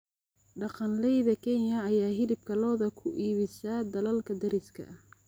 Dhaqanleyda Kenya ayaa hilibka lo'da ku iibisa dalalka dariska ah.